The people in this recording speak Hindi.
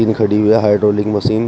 खड़ी हुई हाइड्रोलिक मशीन --